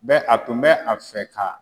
Bɛ a tun bɛ a fɛ ka